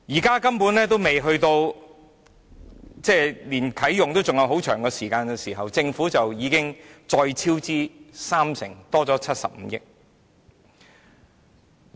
現在距離啟用還有很長時間，但政府已經超支三成，增加了75億元。